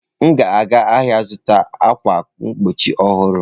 M ga-aga ahịa ịzụta ákwà mgbochi ọhụrụ.